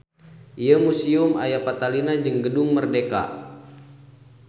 Ieu musieum aya patalina jeung Gedung Merdeka.